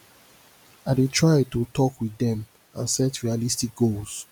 i dey try to talk with dem and set realistic goals